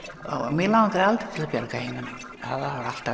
mig langaði aldrei til að bjarga heiminum það var alltaf